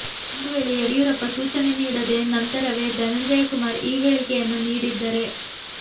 ಒಂದು ವೇಳೆ ಯಡಿಯೂರಪ್ಪ ಸೂಚನೆ ನೀಡಿದ ನಂತರವೇ ಧನಂಜಯ ಕುಮಾರ ಈ ಹೇಳಿಕೆಯನ್ನು ನೀಡಿದ್ದರೆ